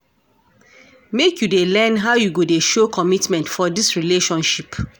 Make you dey learn how you go dey show commitment for dis relationship.